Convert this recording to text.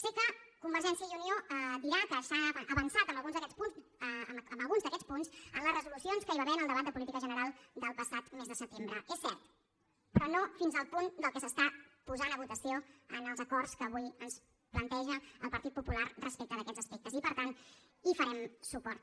sé que convergència i unió dirà que s’ha avançat en alguns d’aquests punts en la resolucions que hi va haver en el debat de política general del passat més de setembre és cert però no fins al punt del que s’està posant a votació en els acords que avui ens planteja el partit popular respecte d’aquests aspectes i per tant hi farem suport